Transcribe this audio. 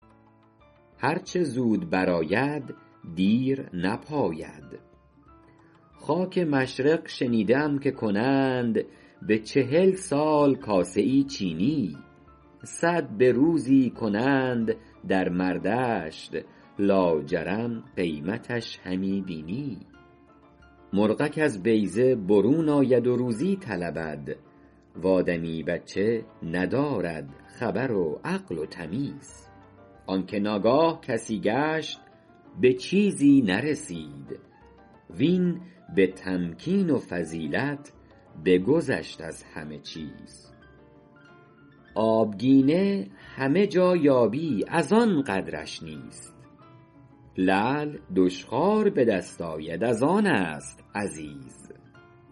هر چه زود بر آید دیر نپاید خاک مشرق شنیده ام که کنند به چهل سال کاسه ای چینی صد به روزی کنند در مردشت لاجرم قیمتش همی بینی مرغک از بیضه برون آید و روزی طلبد و آدمی بچه ندارد خبر و عقل و تمیز آن که ناگاه کسی گشت به چیزی نرسید وین به تمکین و فضیلت بگذشت از همه چیز آبگینه همه جا یابی از آن قدرش نیست لعل دشخوار به دست آید از آن است عزیز